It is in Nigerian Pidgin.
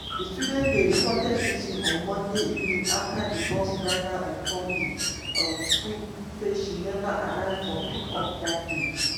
di student dey reported missing on monday evening afta di bus driver inform di um school say she never arrive for pick up dat day.